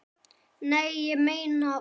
Nei, ég meina.